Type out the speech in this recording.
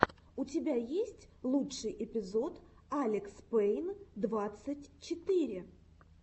у тебя есть лучший эпизод алекспейн двадцать четыре